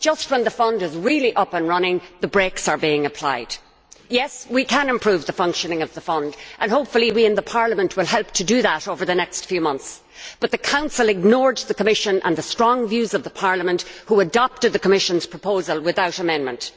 Just as the fund is up and running, the brakes are being applied. We can improve the functioning of the fund and hopefully we in Parliament will help to do that over the next few months but the Council ignored the Commission and the strong views of the Parliament, which adopted the Commission's proposal without amendment.